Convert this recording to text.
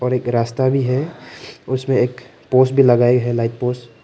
और एक रास्ता भी है उसमें एक पोस भी लगाई है लाइट पोस ।